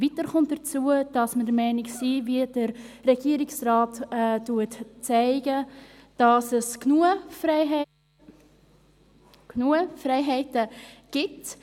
Weiter kommt hinzu, dass wir der Meinung sind – wie der Regierungsrat aufzeigt –, dass es im Moment genügend Freiheiten gibt.